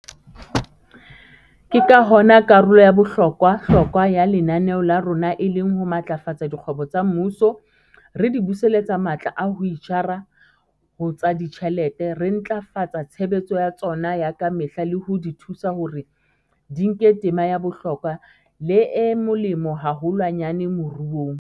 Ke ka hona karolo ya bohlokwa-hlokwa ya lenaneo la rona e leng ho matlafatsa dikgwebo tsa mmuso, re di buseletsa matla a ho itjara ho tsa ditjhelete, re ntlafatsa tshebetso ya tsona ya ka mehla le ho di thusa hore di nke tema ya bohlokwa le e molemo haholwanyane moruong.